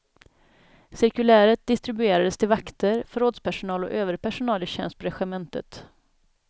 Cirkuläret distribuerades till vakter, förrådspersonal och övrig personal i tjänst på regementet.